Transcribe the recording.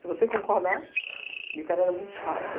Se você concordar... E o cara era muito chato.